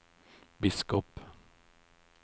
biskop